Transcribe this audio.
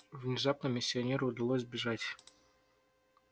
внезапно миссионеру удалось сбежать